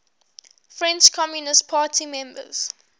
french communist party members